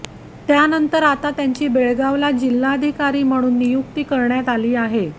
त्यानंतर आता त्यांची बेळगावला जिल्हाधिकारी म्हणून नियुक्ती करण्यात आली आहे